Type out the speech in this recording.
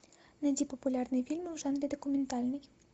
найди популярные фильмы в жанре документальный